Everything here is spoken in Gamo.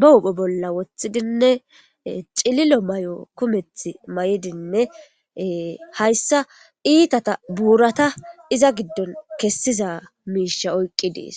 ba hupho bolla woththidinne cililo may7o kumeth may7idinne hayssa iitata buurata iza giddon kessiza miisha oyqqi dees